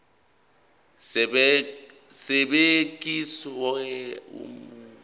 esibekiwe uma kubhekwa